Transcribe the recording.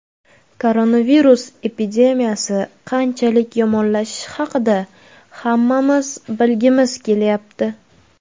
Koronavirus epidemiyasi qanchalik yomonlashishi haqida hammamiz bilgimiz kelyapti.